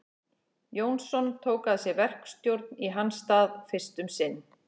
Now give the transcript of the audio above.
Jónsson tók að sér verkstjórn í hans stað fyrst um sinn.